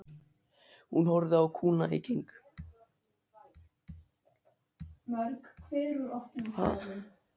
Hún horfði á kúna í keng.